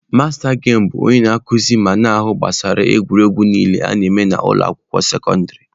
Masta gemụ bụ onye nkuzi na-ahụ gbasara egwuregwu niile a na-eme na ụlọ akwụkwọ sekọndịrị.